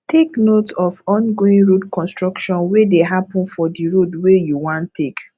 take note of ongoing road construction wey dey happen for di road wey you wan take